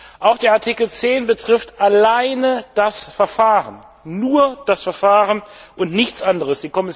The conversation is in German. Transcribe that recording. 10. Auch Artikel 10 betrifft alleine das Verfahren nur das Verfahren und nichts anderes.